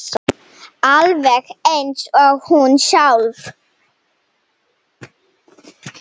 Alveg eins og hún sjálf.